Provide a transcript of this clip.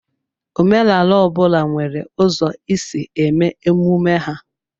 Omenala ọ bụla nwere ụzọ isi eme emume ha.